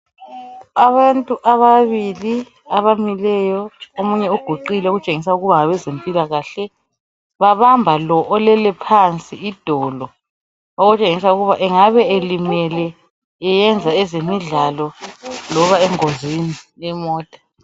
Abantu ababili abamileyo, omunye uguqile okutshengisa ukuba ngabezempilakahle. Babamba lo olele phansi idolo, okutshengisa ukuba engabe elimele eyenza ezemidlalo loba engozini yemota.